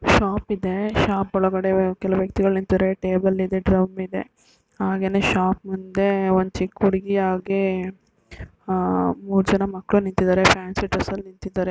shop ಇದೆ shop ಒಳಗಡೆ ಕೆಲವು ವ್ಯಕ್ತಿಗಳು ನಿಂತಿದೆ ಟೇಬಲ್ ಇದೆ ಡ್ರಮ್ ಇದೆ ಹಾಗೇನೇ ಶಾಪ್ ಮುಂದೆ ಒಂದ್ ಚಿಕ್ ಉಡುಗಿ ಹಾಗೆ ಆ ಮೂರ್ ಜನ ಮಕ್ಕಳು ನಿಂತಿದ್ದಾರೆ ಫ್ಯಾನ್ಸಿ ಡ್ರೆಸ್ಸಲ್ಲಿ ನಿಂತ್ತಿದ್ದಾರೆ--